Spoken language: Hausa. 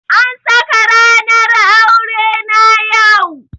An saka ranar aure na yau.